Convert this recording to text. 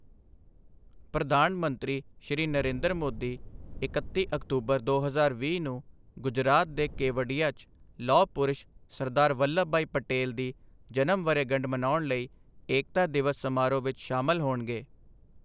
ਪ੍ਰਧਾਨ ਮੰਤਰੀ, ਸ਼੍ਰੀ ਨਰੇਂਦਰ ਮੋਦੀ ਇਕੱਤੀ ਅਕਤੂਬਰ, ਦੋ ਹਜ਼ਾਰ ਵੀਹ ਨੂੰ ਗੁਜਰਾਤ ਦੇ ਕੇਵਡੀਆ 'ਚ ਲੌਹ ਪੁਰਸ਼ ਸਰਦਾਰ ਵੱਲਭਭਾਈ ਪਟੇਲ ਦੀ ਜਨਮ ਵਰ੍ਹੇਗੰਢ ਮਨਾਉਣ ਲਈ ਏਕਤਾ ਦਿਵਸ ਸਮਾਰੋਹ ਵਿੱਚ ਸ਼ਾਮਲ ਹੋਣਗੇ।